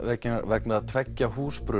vegna vegna tveggja